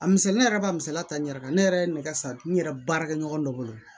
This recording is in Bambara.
A misɛnnin yɛrɛ b'a misɛnya ta n yɛrɛ kan ne yɛrɛ ye nɛgɛ siri n yɛrɛ baarakɛ ɲɔgɔn dɔ bolo